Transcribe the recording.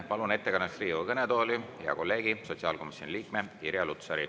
Palun ettekandeks Riigikogu kõnetooli hea kolleegi, sotsiaalkomisjoni liikme Irja Lutsari.